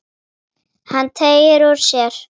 Hann teygir úr sér.